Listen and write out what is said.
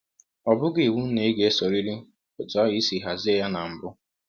Ọ bụghị iwụ na ị ga - esọrịrị ọtụ ahụ i si hazie ya na mbụ.